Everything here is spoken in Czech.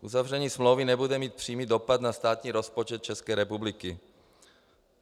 Uzavření smlouvy nebude mít přímý dopad na státní rozpočet České republiky.